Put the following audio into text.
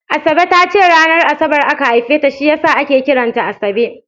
Asabe ta ce ranar Asabar aka haife ta shi ya sa ake kiran ta Asabe